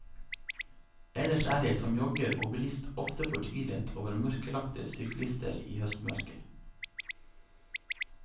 Ellers er jeg som jogger og bilist ofte fortvilet over mørklagte syklister i høstmørket.